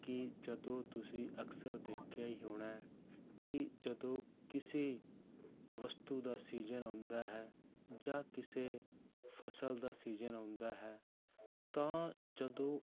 ਕਿ ਜਦੋਂ ਤੁਸੀਂ ਅਕਸਰ ਦੇਖਿਆ ਹੀ ਹੋਣਾ ਹੈ ਕਿ ਜਦੋਂ ਕਿਸੇ ਵਸਤੂ ਦਾ ਸੀਜਨ ਆਉਂਦਾ ਹੈ ਜਾਂ ਕਿਸੇ ਫਸਲ ਦਾ ਸੀਜਨ ਆਉਂਦਾ ਹੈ ਤਾਂ ਜਦੋਂ